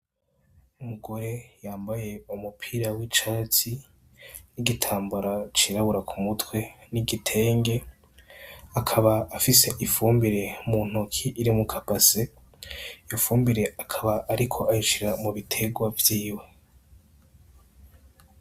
Umugore yambaye umupira w'icatsi n'igitambara cirabura ku mutwe n'igitenge, akaba afise ifumbire mu ntoki iri muka base, iyo fumbire akaba ariko ayishira mu biterwa vyiwe.